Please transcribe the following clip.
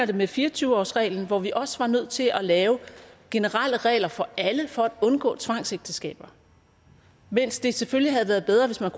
det med fire og tyve årsreglen hvor vi også var nødt til at lave generelle regler for alle for at undgå tvangsægteskaber mens det selvfølgelig havde været bedre hvis man